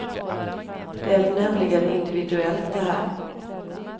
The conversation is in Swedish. Det är nämligen individuellt, det här.